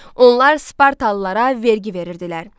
Onlar Spartalılara vergi verirdilər.